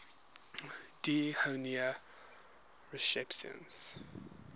d honneur recipients